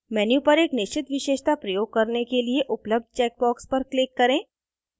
menu पर एक निश्चित विशेषता प्रयोग करने के लिए उपलब्ध चेकबॉक्स पर click करें